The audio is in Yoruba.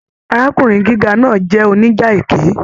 Arákùnrin gíga náà jẹ oníjà ẹkẹ.